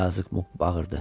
Yazıq Muq bağırdı.